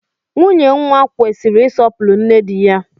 Nwunye nwa kwesịrị isọpuru nne dị ya